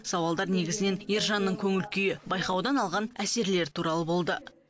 сауалдар негізінен ержанның көңіл күйі байқаудан алған әсерлері туралы болды